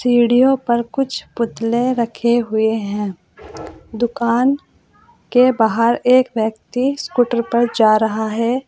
सीढ़ियों पर कुछ पुतले रखे हुए हैं दुकान के बाहर एक व्यक्ति स्कूटर पर जा रहा है।